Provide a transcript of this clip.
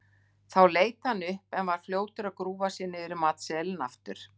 Þá leit hann upp en var fljótur að grúfa sig niður í matseðilinn aftur.